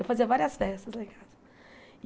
Eu fazia várias festas lá em casa.